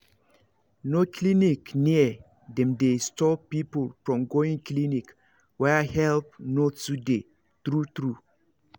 no clinic near dem dey stop people from going clinic where help no too dey true true